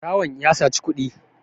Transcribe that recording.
barawon ya saci kuɗi